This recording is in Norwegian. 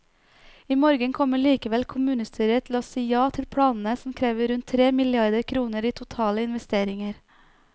I morgen kommer likevel kommunestyret til å si ja til planene som krever rundt tre milliarder kroner i totale investeringer.